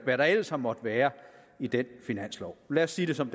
hvad der ellers har måttet være i den finanslov lad os sige det som